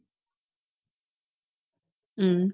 ஹம்